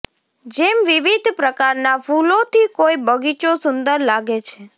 જેમ વિવિધ પ્રકારના ફૂલોથી કોઈ બગીચો સુંદર લાગે છે